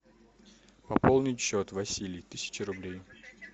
пополнить счет василий тысяча рублей